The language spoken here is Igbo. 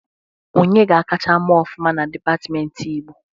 Onye ga akacha mee ọfụma na dipatmenti Igbo?